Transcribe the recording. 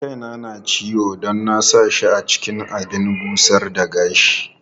Kaina na ciwo don na sa shi cikin abin busar da gashi.